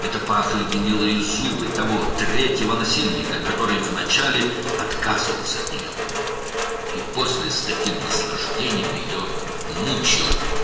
Bu, əvvəlcə ondan imtina edən, sonra isə belə ləzzətlə onu əzablandıran üçüncü təcavüzkarın çürük dişlərinin qoxusu idi.